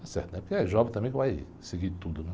Porque é jovem também que vai seguir tudo.